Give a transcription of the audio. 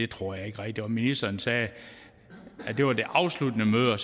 tror jeg ikke rigtigt på ministeren sagde at det var det afsluttende møde